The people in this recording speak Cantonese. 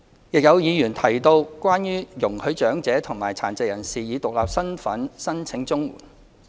有議員提到容許長者和殘疾人士以獨立身份申請綜援。